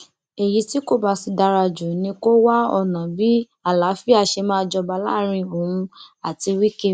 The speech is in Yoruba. èyí tí kò bá sì dára jù ni kó wá ọnà bí àlàáfíà ṣe máa jọba láàrin òun àti wike